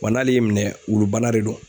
Wa n'ale y'i minɛ wulubana de do.